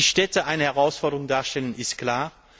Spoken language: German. Dass die Städte eine Herausforderung darstellen, ist klar.